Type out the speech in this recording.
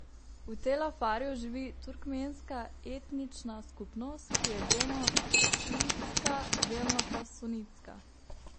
V Tel Afarju živi turkmenska etnična skupnost, ki je delno šiitska, delno pa sunitska.